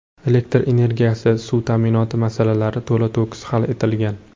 Elektr energiyasi, suv ta’minoti masalalari to‘la-to‘kis hal etilgan.